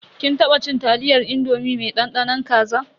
Kin taba cin taliyar indomi mai dandanon kaza.